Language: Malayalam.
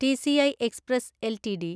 TC express LTD